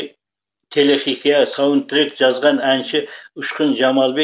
телехикаяға саундтрек жазған әнші ұшқын жамалбек